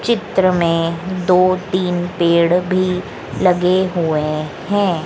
चित्र में दो तीन पेड़ भी लगे हुए हैं।